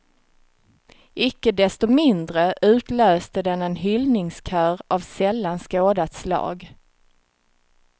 Icke desto mindre utlöste den en hyllningskör av sällan skådat slag.